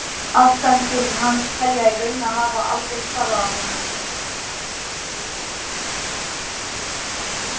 Aðstandendur hans telja í raun að það hafi aldrei hvarflað að honum.